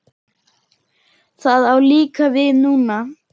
Það á líka við núna.